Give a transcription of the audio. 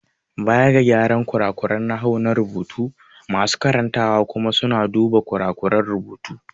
Baya ga gyara kurakuran nahawu na marubuta, masu karantawa kuma suna duba kurakuran rubutu.